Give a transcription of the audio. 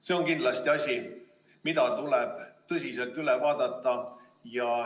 See on kindlasti asi, mis tuleb tõsiselt üle vaadata.